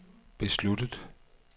besluttet